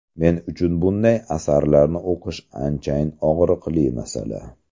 Men uchun bunday asarlarni o‘qish anchayin og‘riqli masala.